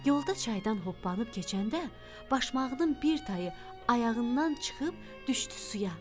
Yolda çaydan hoppanıb keçəndə başmağının bir tayı ayağından çıxıb düşdü suya.